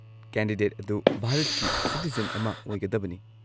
Candidate ꯑꯗꯨ ꯚꯥꯔꯠꯀꯤ citizen ꯑꯃ ꯑꯣꯏꯒꯗꯕꯅꯤ ꯫